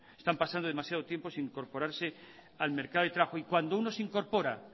están pasando demasiado tiempo sin incorporarse al mercado de trabajo y cuando uno se incorpora